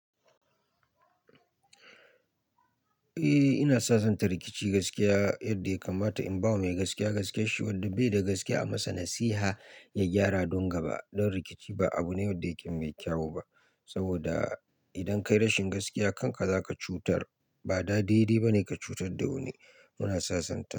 Eh ina sasanta rikici gaskiya yadda ya kamata in bawa mai gaskiya gaskiyarshi wanda bai da gaskiya a masa nasiha ya gyara don gaba. Don rikici ba abu ne wanda yake mai kyau ba saboda idan ka yi rashin gaskiya kanka zaka cutar ba da daidai bane ka cutar da wani. Muna sasanta.